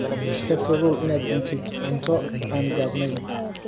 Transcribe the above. Ka fogow inaad cuntid cunto aan gabbanayn.